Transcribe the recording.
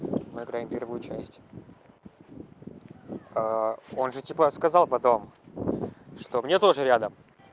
на грани первую часть а он же типа сказал потом что мне тоже рядом